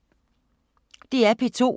DR P2